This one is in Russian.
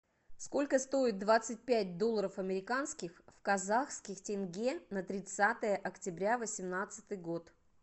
сколько стоит двадцать пять долларов американских в казахских тенге на тридцатое октября восемнадцатый год